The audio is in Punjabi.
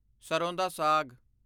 ਸਰ੍ਹੋਂ ਦਾ ਸਾਗ